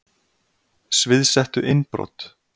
Sviðsettu innbrot